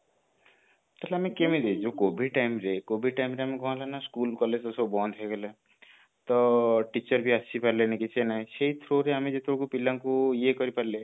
ତାହେଲେ ଆମେ କେମିତି ଯୋଉ covid time ରେ covid time ରେ ଆମେ କଣ ହେଲା ନା school college ସବୁ ବନ୍ଦ ହେଇଗଲେ ତ teacher ବି ଆସି ପାରିଲେନି କିଛି ନାଇଁ ସେଇ through ରେ ଆମେ ଯେତେବେଳେ ପିଲାଙ୍କୁ ଇଏ କରି ପାରିଲେ